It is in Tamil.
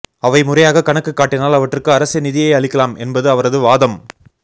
அவை முறையாகக் கணக்கு காட்டினால் அவற்றுக்கு அரசே நிதியை அளிக்கலாம் என்பது அவரது வாதம்